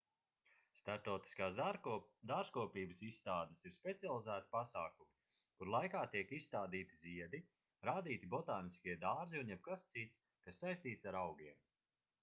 starptautiskās dārzkopības izstādes ir specializēti pasākumi kuru laikā tiek izstādīti ziedi rādīti botāniskie dārzi un jebkas cits kas saistīts ar augiem